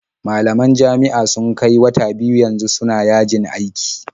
Malaman jami'a sun kai wata biyu yanzu suna yajin aiki.